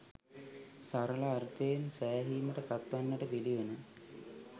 සරල අර්ථයෙන් සෑහීමට පත්වන්නට පිළිවන